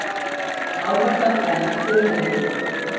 Áhættan enn fyrir hendi